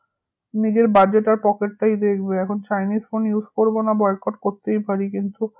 নিজের budget আর pocket টাই দেখবে এখন chinese phone use করবোনা boycott করতেই পারি কিন্তু